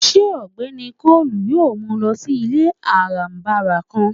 Ṣe Ọgbẹni Collins yóò mu lọ si ile arabara kan?